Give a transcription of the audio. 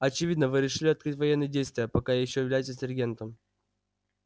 очевидно вы решили открыть военные действия пока ещё являетесь регентом